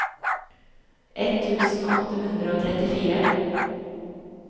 ett tusen åtte hundre og trettifire